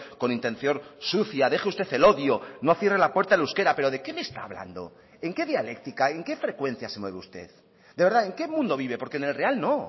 con intención sucia deje usted el odio no cierre la puerta al euskera pero de qué me está hablando en qué dialéctica en qué frecuencia se mueve usted de verdad en qué mundo vive porque en el real no